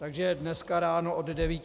Takže dneska ráno od 9 hodin -